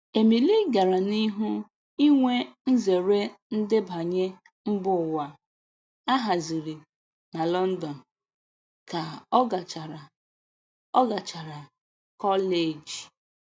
Emily gara n'ihu inwe nzere ndebanye mbụwa a haziri na London, ka ọ gachara ọ gachara kọleji